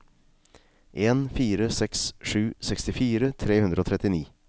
en fire seks sju sekstifire tre hundre og trettini